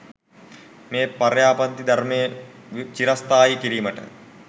මේ පර්යාප්ති ධර්මය චිරස්ථායි කිරීමට